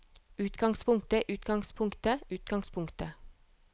utgangspunktet utgangspunktet utgangspunktet